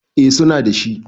eh suna da shi